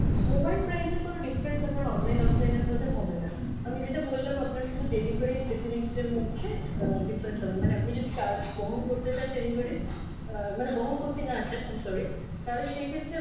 mobile price এর কোনো difference আপনার online offline এর মধ্যে হবেনা, আমি যেটা বললাম আপনার শুধু delivery র facility টার মধ্যে আহ difference হবে, মানে আপনি যদি charge বহন করতে চান delivery র, আহ মানে বহন করতে না চান I'm sorry তাহলে সে ক্ষেত্রে আপনার